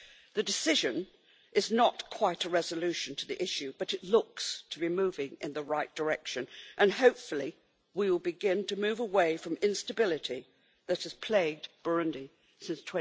The decision is not quite a resolution to the issue, but it looks to be moving in the right direction and, hopefully, we will begin to move away from the instability that has plagued Burundi since